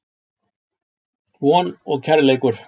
Von og Kærleikur.